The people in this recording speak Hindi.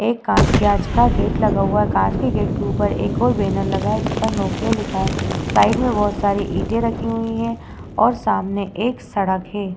एक कांच के आगे गेट लगा हुआ है कांच के गेट के ऊपर एक और बैनर लगा है जिसमें नोकिया लिखा है। साइड में बहोत सारी ईटे रखी हुई है और सामने एक सड़क है।